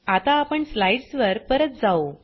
आता आपण स्लाईडस् वर परत जाऊ